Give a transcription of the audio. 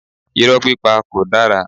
Irọ́ pípa kò dára.